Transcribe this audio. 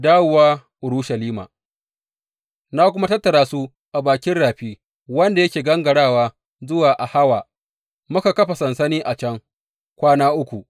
Dawowa Urushalima Na kuma tattara su a bakin rafi wanda yake gangarawa zuwa Ahawa, muka kafa sansani a can kwana uku.